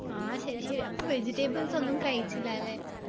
ആ ശരി ശരി അപ്പൊ vegetables ഒന്നും കഴിച്ചില്ല അല്ലെ